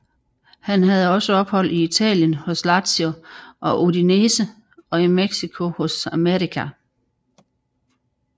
Han havde også ophold i Italien hos Lazio og Udinese og i Mexico hos América